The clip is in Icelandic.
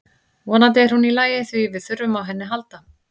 Vonandi er hún í lagi því við þurfum á henni að halda.